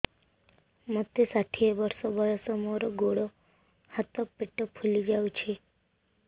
ମୋତେ ଷାଠିଏ ବର୍ଷ ବୟସ ମୋର ଗୋଡୋ ହାତ ପେଟ ଫୁଲି ଯାଉଛି